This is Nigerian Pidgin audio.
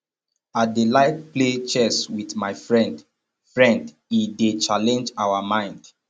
i dey like play chess wit my friend friend e dey challenge our mind